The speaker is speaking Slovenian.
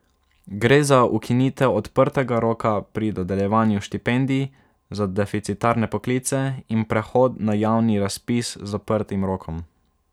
Gre za ukinitev odprtega roka pri dodeljevanju štipendij za deficitarne poklice in prehod na javni razpis z zaprtim rokom.